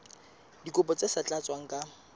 dikopo tse sa tlatswang ka